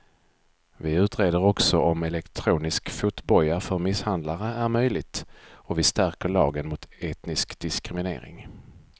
Vi utreder också om elektronisk fotboja för misshandlare är möjligt och vi stärker lagen mot etnisk diskriminering.